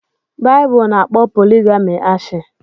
Bibulu n'akpo poligami ashi